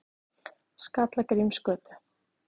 Skallagrímsgötu